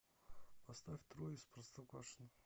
поставь трое из простоквашино